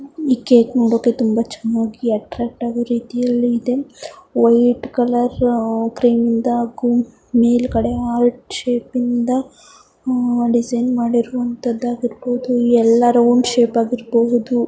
ಈ ಕೇಕ್ ಮುಂದೆ ತುಂಬಾ ಚನ್ನಾಗಿ ಅಟ್ರಾಕ್ಟ್ ಆಗೋ ರೀತಿಯಲ್ಲಿ ಇದೆ ವೈಟ್ ಕಲರ್ ಕ್ರೀಮ್ ಯಿಂದ ಹಾಗು ಮೇಲಗಡೆ ಹಾರ್ಟ್ ಶೇಪ್ ಯಿಂದ ಒಂದ ಡಿಸೈನ್ ಮಾಡಿರವಂತಾಗಿರಬಹುದು ಎಲ್ಲಾ ರೌಂಡ್ ಶೇಪ್ ಆಗಿರಬಹುದು.